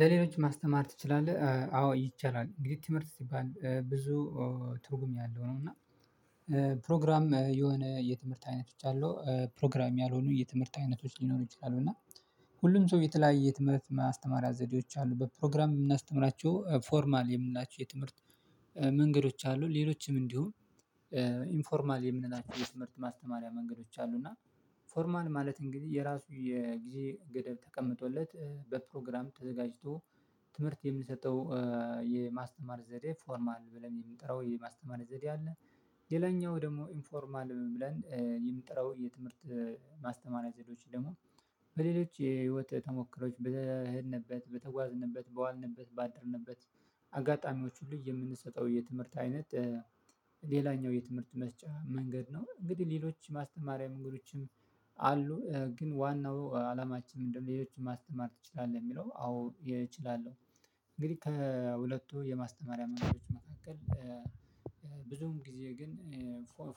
ለሌሎች ማስተማር ትችላለህ አዎ ይቻላል እንግዲህ ትምህርት ሲባል ብዙ ትርጉም ያለው ነው። እና ፕሮግራም የሆነ የትምህርት አይነቶች አሉ ፕሮግራም ያልሆኑ የትምህርት አይነቶች ሊኖሩ ይችላሉ። እና ሁሉም ሰው የተለያየ ትምህርት የማስተማሪያ ዘዴዎች አሉ በፕሮግራም የምናስተምራቸው ፎርማል የምንላቸው የትምህርት መንገዶች አሉ። ሌሎችም እንዲሁም ኢንፎርማል የምንላቸው የትምህርት ማስተማሪያ መንገዶች አሉ። እና ፎርማል ማለት እንግዲህ የራሱ የጊዜ ገደብ ተቀምጦለት በፕሮግራም ተዘጋጅቶ ትምህርት የምንሰጠው የማስተማር ዘዴ ፎርማል ብለን የምንጠራው የማስተማር ዘዴ አለ። ሌላኛው ደግሞ ኢንፎርማል ብለን የምንጠራው የትምህርት ማስተማሪያ ዘዴዎች ደግሞ በሌሎች የህይወት ተሞክሮዎች በሄድንበት በተጓዝንበት በዋልንበት ባደርንበት አጋጣሚዎች ሁሉ የምንሰጠው የትምህርት አይነት። ሌላኛው የትምህርት መስጫ መንገድ ነው። እንግዲህ ሌሎች ማስተማሪያ መንገዶችም አሉ ግን ዋናው አላማችንም ምንድነው ሌሎችን ማስተማር ትችላለህ የሚለው አዎ እችላለሁ። እንግዲህ ከሁለቱ የማስተማሪያ ማንገዶች መካከል ብዙም ጊዜ ግን